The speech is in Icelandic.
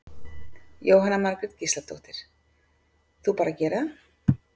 Jóhanna Margrét Gísladóttir: Þú bara gerir það?